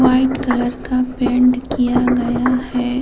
White colour का paint किया गया है।